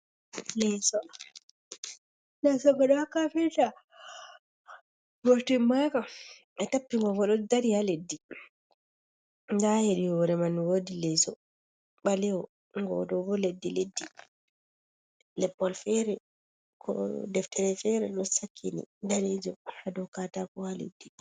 Leso ngo ɗo ha kafinta ngo timmaka ɓe tappi ngo, ngo ɗo dari ha leddi nda hedi hore man wodi hore leso balewo ngo ɗo ɓo leddi leddi deftere fere ɗo sakkini danejum hado katako ha leddi.